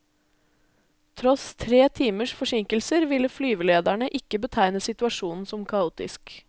Tross tre timers forsinkelser ville flyvelederne ikke betegne situasjonen som kaotisk.